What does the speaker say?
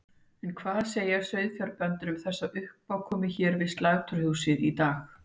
En hvað segja sauðfjárbændur við þessari uppákomu hér við sláturhúsið í dag?